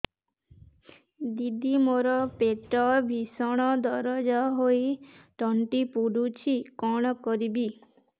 ଦିଦି ମୋର ପେଟ ଭୀଷଣ ଦରଜ ହୋଇ ତଣ୍ଟି ପୋଡୁଛି କଣ କରିବି